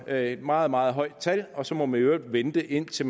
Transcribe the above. er et meget meget højt tal og så må man i øvrigt vente indtil